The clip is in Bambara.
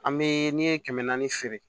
An bɛ n'i ye kɛmɛ naani feere